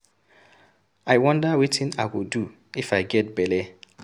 I wonder wetin I go do if I get bele.